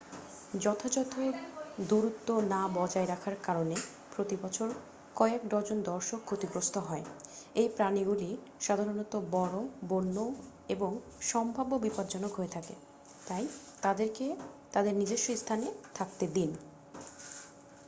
যথাযথ দূরত্ব না বজায় রাখার কারণে প্রতি বছর কয়েক ডজন দর্শক ক্ষতিগ্রস্ত হয় এই প্রাণীগুলি সাধারণত বড় বন্য এবং সম্ভাব্য বিপজ্জনক হয়ে থাকে তাই তাদেরকে তাদের নিজস্ব স্থানে থাকতে দিন